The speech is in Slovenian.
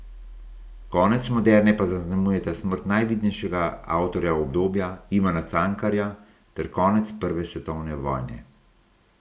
Konec moderne pa zaznamujeta smrt najvidnejšega avtorja obdobja, Ivana Cankarja, ter konec prve svetovne vojne.